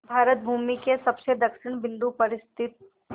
भारत भूमि के सबसे दक्षिण बिंदु पर स्थित